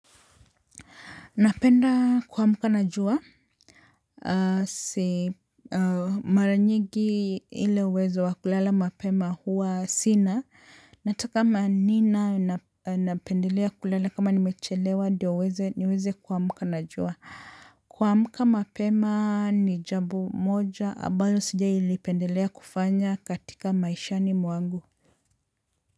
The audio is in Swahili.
Napenda kuamka na jua, mara nyingi ile uwezo wa kulala mapema huwa sina, nataka ma nina napendelea kulala kama nimechelewa ndiyo uweze niweze kuamka na jua. Kuamka mapema ni jambo moja, ambayo sijailipendelea kufanya katika maishani mwangu.